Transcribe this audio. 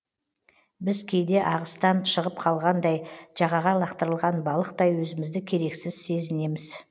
біз кейде ағыстан шығып қалғандай жағаға лақтырылған балықтай өзімізді керексіз сезінеміз